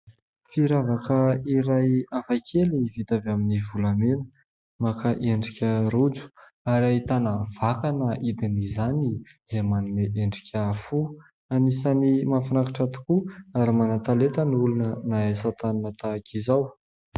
Firavaka iray hafakely ny vita avy amin'ny volamena, maka endrika rojo ary ahitana vakana hidin'izany izay manome endrika fo, anisany mahafinaritra tokoa ary manan-talenta ny olona mahay asa tanana tahak'izao.